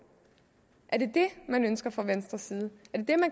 er det det man ønsker fra venstres side